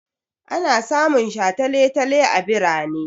Ana samun shataletale a birane.